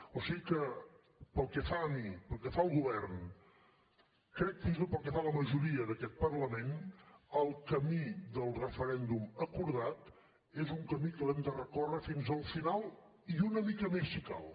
o sigui que pel que fa a mi pel que fa al govern crec fins i tot pel que fa a la majoria d’aquest parlament el camí del referèndum acordat és un camí que l’hem de recórrer fins al final i una mica més si cal